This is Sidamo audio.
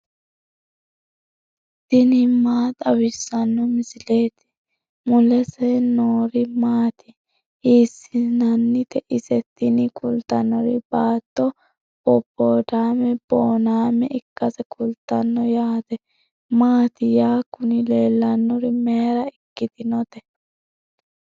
tini maa xawissanno misileeti ? mulese noori maati ? hiissinannite ise ? tini kultannori baatto boboodaame boonnaame ikkase kultanno yate maati ya kuni leellannori mayra ikkitinote